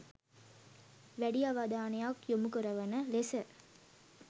වැඩි අවධානයක් යොමු කරවන ලෙස